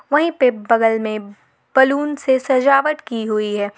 वहीं पे बगल में बैलून से सजावट की हुई है।